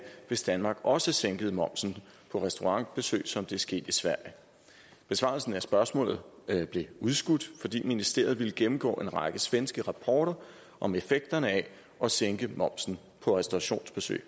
hvis danmark også sænkede momsen på restaurantbesøg som det er sket i sverige besvarelsen af spørgsmålet blev udskudt fordi ministeriet ville gennemgå en række svenske rapporter om effekterne af at sænke momsen på restaurationsbesøg